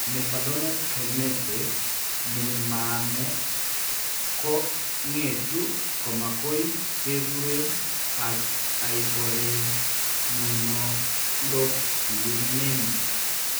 Mevalonate kinase ne maame ko ngetu koma ngoy kekuren hyperimmunoglobulinemia d